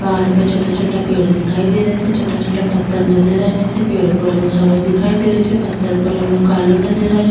पहाड़ पे छोटा छोटा पेड़ दिखाई दे रा छे छोटा छोटा पत्थर नजर आ रा छे पेड़ को रंग हरो दिखाई दे रो छे पत्थर को रंग कालो नजर आरो --